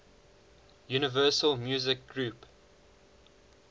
universal music group